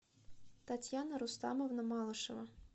татьяна рустамовна малышева